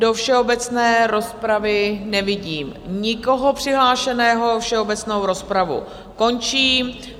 Do všeobecné rozpravy nevidím nikoho přihlášeného, všeobecnou rozpravu končím.